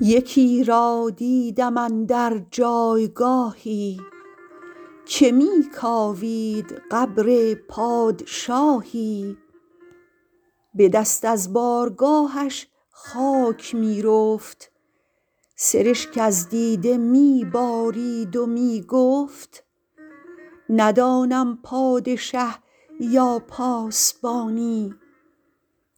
یکی را دیدم اندر جایگاهی که می کاوید قبر پادشاهی به دست از بارگاهش خاک می رفت سرشک از دیده می بارید و می گفت ندانم پادشه یا پاسبانی